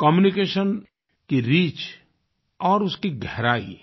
communication की reach और उसकी गहराई